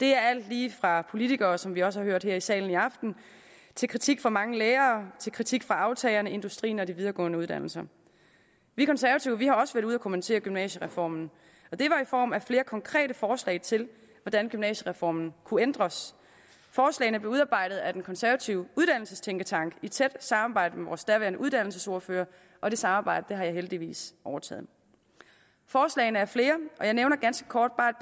det er alt lige fra politikere som vi også har hørt her i salen i aften til kritik fra mange lærere til kritik fra aftagerne industrien og de videregående uddannelser vi konservative har også været ude at kommentere gymnasiereformen og det var i form af flere konkrete forslag til hvordan gymnasiereformen kunne ændres forslagene blev udarbejdet af den konservative uddannelsestænketank i tæt samarbejde med vores daværende uddannelsesordfører og det samarbejde har jeg heldigvis overtaget forslagene er flere og jeg nævner ganske kort bare